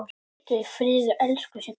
Hvíldu í friði, elsku Siggi.